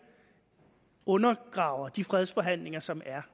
undergraver de fredsforhandlinger som er